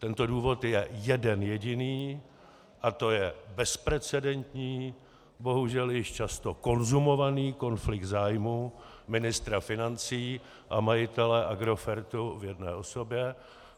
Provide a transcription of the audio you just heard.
Tento důvod je jeden jediný a to je bezprecedentní, bohužel již často konzumovaný konflikt zájmů ministra financí a majitele Agrofertu v jedné osobě.